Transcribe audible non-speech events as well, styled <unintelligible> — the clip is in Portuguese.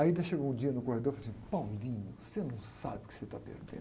<unintelligible> chegou um dia no corredor e falou assim, <unintelligible> você não sabe o que você está perdendo.